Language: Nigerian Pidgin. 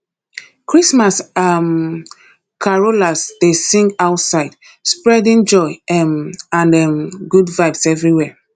christmas um carolers dey sing outside spreading joy um and um good vibes everywhere